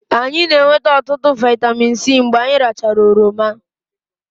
anyị na-enweta ọtụtụ vitamin C mgbe anyị rachara oroma